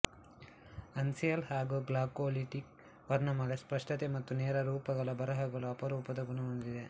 uncial ಹಾಗೂ Glagolitic ವರ್ಣಮಾಲೆ ಸ್ಪಷ್ಟತೆ ಮತ್ತು ನೇರ ರೂಪಗಳಬರಹಗಳು ಅಪರೂಪದ ಗುಣ ಹೊಂದಿವೆ